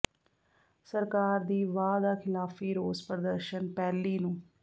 ਸਰਕਾਰ ਦੀ ਵਾਅ ਦਾ ਖ਼ਿਲਾਫ਼ੀ ਰੋਸ ਪ੍ਰਦਰਸ਼ਨ ਪਹਿਲੀ ਨੂੰ